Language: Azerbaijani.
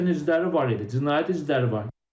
Raketin izləri var idi, cinayət izləri var idi.